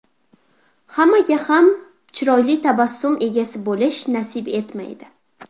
Hammaga ham chiroyli tabassum egasi bo‘lish nasib etmaydi.